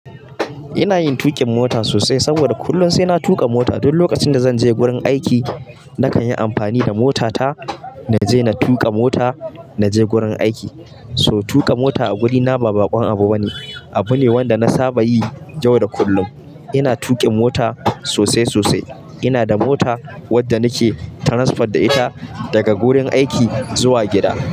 Ina yin tuƙin mota sosai saboda kullum sai na tuƙa mota. Duk lokacin da zan je gurin aiki, na kan yi amfani da mota ta na je. Na tuƙa mota na je gurin aiki. So tuƙa mota a wurina ba baƙon abu bane. Abu ne wanda na saba yi yau da kullum. Ina tuƙin mota sosai sosai. Ina da mota wadda nake transport da ita daga gurin aiki zuwa gida.